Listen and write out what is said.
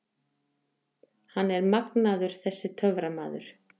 Hann er magnaður þessi töframaður.